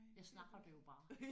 Jeg snakker det jo bare